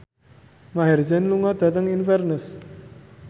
Maher Zein lunga dhateng Inverness